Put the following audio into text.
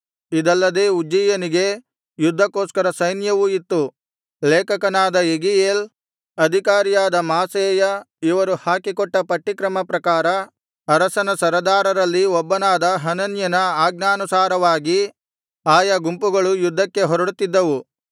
ಇದಲ್ಲದೆ ಉಜ್ಜೀಯನಿಗೆ ಯುದ್ಧಕ್ಕೋಸ್ಕರ ಸೈನ್ಯವೂ ಇತ್ತು ಲೇಖಕನಾದ ಯೆಗೀಯೇಲ್ ಅಧಿಕಾರಿಯಾದ ಮಾಸೇಯ ಇವರು ಹಾಕಿಕೊಟ್ಟ ಪಟ್ಟಿಯಕ್ರಮ ಪ್ರಕಾರ ಅರಸನ ಸರದಾರರಲ್ಲಿ ಒಬ್ಬನಾದ ಹನನ್ಯನ ಆಜ್ಞಾನುಸಾರವಾಗಿ ಆಯಾ ಗುಂಪುಗಳು ಯುದ್ಧಕ್ಕೆ ಹೊರಡುತ್ತಿದ್ದವು